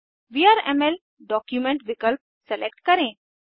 VRML document विकल्प select करें